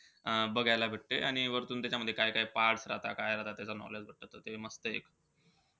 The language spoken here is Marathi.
अं बघायला भेटते आणि वरतून त्याच्यामध्ये काय-काय parts राहता. काय राहता त्याचं knowledge भेटतं. त ते मस्तयं.